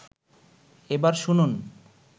এবার শুনুন